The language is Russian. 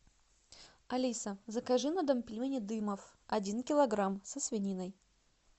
алиса закажи на дом пельмени дымов один килограмм со свининой